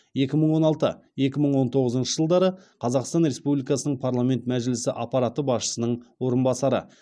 екі мың он алты екі мың он тоғызыншы жылдары қазақстан республикасының парламент мәжілісі аппараты басшысының орынбасары